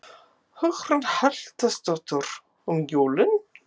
Hugrún Halldórsdóttir: Um jólin?